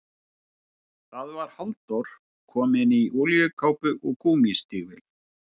Það var Halldór, kominn í olíukápu og gúmmístígvél.